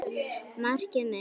Markið mitt?